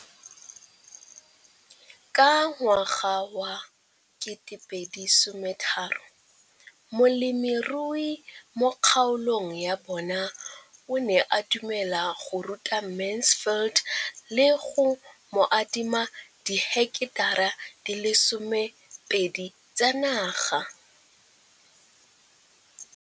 Ka ngwaga wa 2013, molemirui mo kgaolong ya bona o ne a dumela go ruta Mansfield le go mo adima di heketara di le 12 tsa naga.